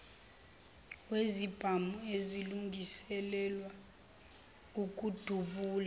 wesibhamu esilungiselelwa ukudubula